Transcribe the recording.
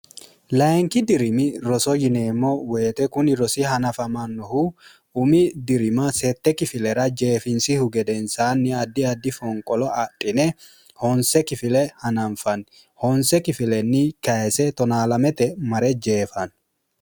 layinki dirimi roso yineemmo woyite kuni rosi hanafamannohu umi dirima sette kifilera jeefinsihu gedensaanni addi adi fonqolo adhine honse kifile hananfanni honse kifilenni kayise tonna lamete mare jeefanno